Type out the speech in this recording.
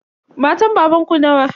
Matan babanku nawa?